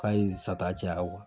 K'a ye sata caya o kan